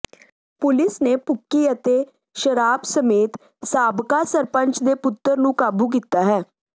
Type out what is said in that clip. police ਨੇ ਭੁੱਕੀ ਅਤੇ ਸ਼ਰਾਬ ਸਮੇਤ ਸਾਬਕਾ ਸਰਪੰਚ ਦੇ ਪੁੱਤਰ ਨੂੰ ਕਾਬੂ ਕੀਤਾ ਹੈ